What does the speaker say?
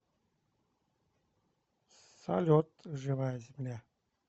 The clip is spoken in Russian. салют живая земля